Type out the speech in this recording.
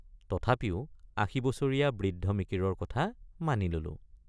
তথাপিও আশীবছৰীয়া বৃদ্ধ মিকিৰৰ কথা মানি ললোঁ।